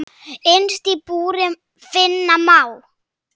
Innst í búri finna má.